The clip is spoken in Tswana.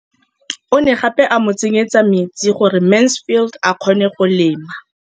O ne gape a mo tsenyetsa metsi gore Mansfield a kgone go lema.